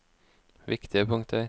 viktige punkter